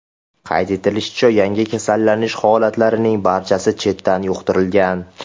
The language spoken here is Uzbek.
Qayd etilishicha, yangi kasallanish holatlarining barchasi chetdan yuqtirilgan.